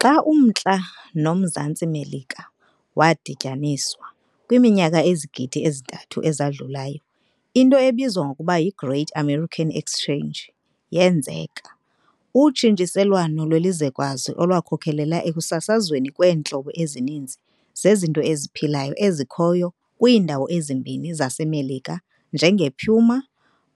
Xa uMntla noMzantsi Melika wadityaniswa, kwiminyaka ezizigidi ezi-3 eyadlulayo, into ebizwa ngokuba yiGreat American Exchange yenzeka, utshintshiselwano lwelizwekazi olwakhokelela ekusasazweni kweentlobo ezininzi zezinto eziphilayo ezikhoyo kwiindawo ezimbini zaseMelika, njengepuma,